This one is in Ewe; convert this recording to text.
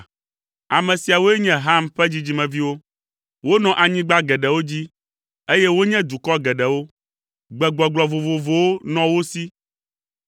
Ame siawoe nye Ham ƒe dzidzimeviwo. Wonɔ anyigba geɖewo dzi, eye wonye dukɔ geɖewo. Gbegbɔgblɔ vovovowo nɔ wo si.